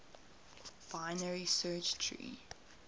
binary search tree